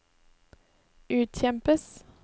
utkjempes